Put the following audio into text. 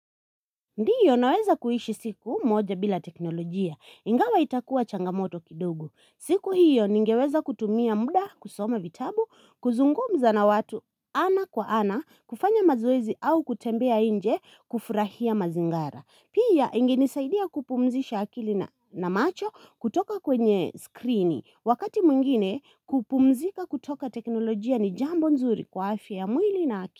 Ndiyo naweza kuishi siku moja bila teknolojia. Ingawa itakuwa changamoto kidogu. Siku hiyo ningeweza kutumia muda kusoma vitabu, kuzungumza na watu ana kwa ana kufanya mazwezi au kutembea inje kufurahia mazingara. Pia ingenisaidia kupumzisha akili na macho kutoka kwenye skrini. Wakati mwingine kupumzika kutoka teknolojia ni jambo nzuri kwa afy ya mwili na akili.